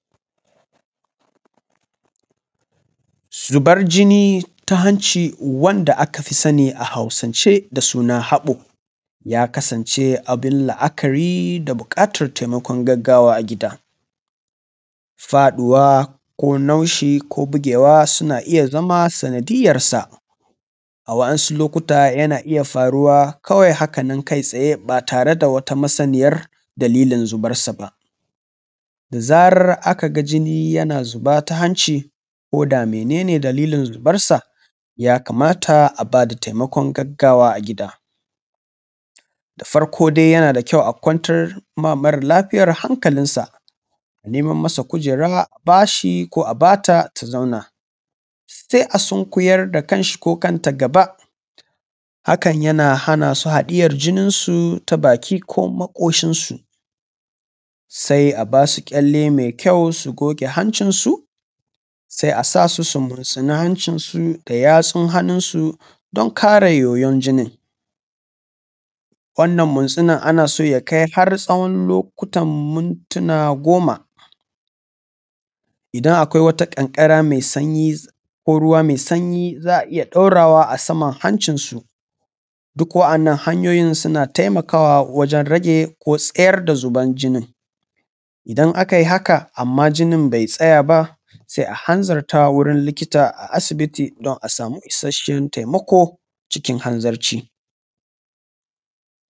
Zubar jini ta hanci wanda aka fi sani a Hausance da suna haɓo ya kasance abin la’akari da buƙatar taimakon gaggawa a gida. Faɗuwa ko naushi ko bugewa suna iya zama sanadiyyarsa, a waɗansu lokuta yana iya faruwa kawai haka nan kaitsaye ba tar da wata masaniyar dalilin zubarsu ba. Da zarar aka ga jini yana zuba ta hanci ko da mene ne dalilin zubarsa, ya kamata a ba da taimakon gaggawa a gida. Da farko dai yana da kyau a kwantar wa da mara lafiyar hankalinsa a nemo masa kujera a bashi ko a ba ta ta zauna, sai a sunkuyar da kanshi ko kanta gaba, hakan yana hana su haɗiyar jininsu ta baki ko maƙoshinsu, sai a basu ƙyalle mai kyau su goge hancinsu, sai a sa su su mursuna hancinsu da yatsun hannunsu don kare yoyon jinin. Wannan mursuna ana so ya kai har tsawon lokutan mintuna goma, idan akwai wata ƙanƙara mai danyi ko ruwa mai sanyi za a iya ɗaurawa a saman hancinsu. Duk waɗannan hanyoyin suna taimakawa wajen rage ko tsayar da zuban jinin, idan aka yi haka ammma jinin bai tsaya ba sai a hanzarta wurin likita a asibiti don a samu isasshen taimako cikin hanzarci.